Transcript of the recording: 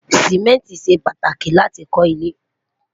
simẹnti ṣé pàtàkì láti kò ile